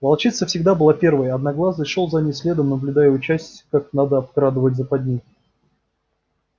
волчица всегда была первой а одноглазый шёл за ней следом наблюдая и учась как надо обкрадывать западни